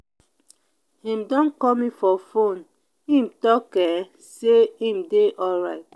im don call me for fone im talk um sey im dey alright.